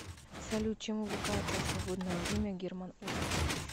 салют чем увлекается в свободное время герман оскарович